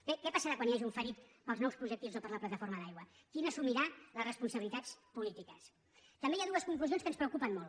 bé què passarà quan hi hagi un ferit pels nous projectils o per la plataforma d’aigua qui n’assumirà les responsabilitats polítiques també hi ha dues conclusions que ens preocupen molt